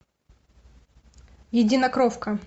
единокровка